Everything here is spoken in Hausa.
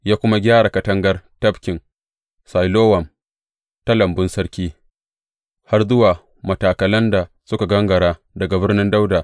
Ya kuma gyara katangar tafkin Silowam, ta Lambun Sarki, har zuwa matakalan da suka gangara daga Birnin Dawuda.